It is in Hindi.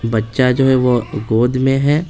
बच्चा जो है वो गोद में है।